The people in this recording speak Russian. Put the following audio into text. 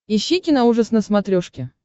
ищи киноужас на смотрешке